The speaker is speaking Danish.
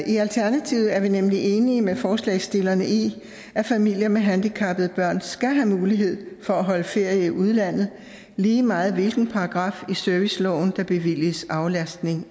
i alternativet er vi nemlig enige med forslagsstillerne i at familier med handicappede børn skal have mulighed for at holde ferie i udlandet lige meget hvilken paragraf i serviceloven der bevilliges aflastning